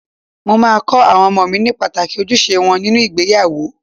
Mo máa kọ àwọn ọmọ mi ní pàtàkì ojúṣe wọn nínú ìgbéyàwó.